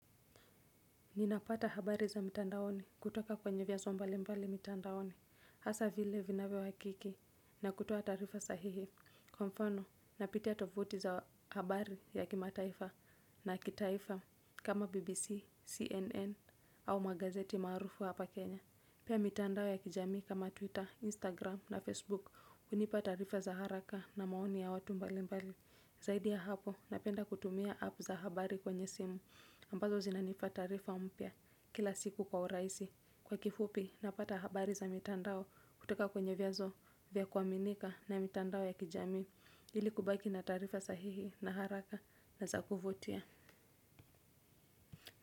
Ninapata habari za mitandaoni kutoka kwenye vyanzo mbali mbali mitandaoni. Hasa vile vinavyo uhakiki na kutoa taarifa sahihi. Kwa mfano, napitia tovuti za habari ya kimataifa na kitaifa Kama BBC, CNN au magazeti maarufu hapa Kenya. Pia mitandao ya kijami kama Twitter, Instagram na Facebook hunipa taarifa za haraka na maoni ya watu mbali mbali. Zaidi ya hapo, napenda kutumia app za habari kwenye simu ambazo zinanipa taarifa mpya kila siku kwa urahisi. Kwa kifupi napata habari za mitandao kutoka kwenye vyanzo vya kuaminika na mitandao ya kijamii ili kubaki na tarifa sahihi na haraka na za kuvutia.